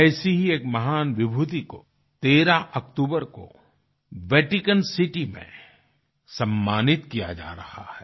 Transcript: ऐसी ही एक महान विभूति को 13 अक्टूबर को वेटिकन सिटी में सम्मानित किया जा रहा है